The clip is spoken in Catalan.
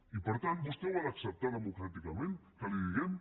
i per tant vostè ho ha d’acceptar democràticament que li ho diguem